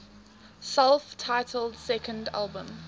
self titled second album